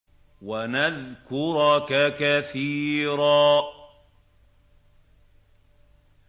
وَنَذْكُرَكَ كَثِيرًا